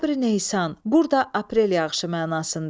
Əbri Neyşan, burda aprel yağışı mənasında.